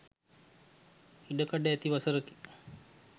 ඉඩ කඩ ඇති වසරකි.